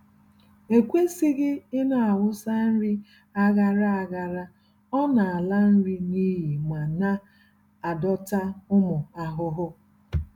E kwesịghị ịnawụsa nri aghara aghara, ọ-nala nri n'iyi ma na-adọta ụmụ ahụhụ.